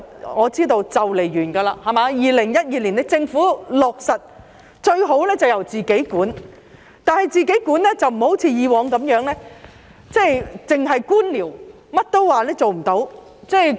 我知道租約即將完結，政府是於2012年批出，其實最好是由政府自己管理，但不要像以往一樣，只是官僚，甚麼都說做不到。